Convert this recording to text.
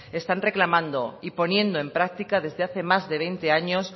están reclamando y poniendo en práctica desde hace más de veinte años